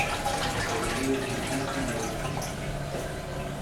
зарубежные песни на русском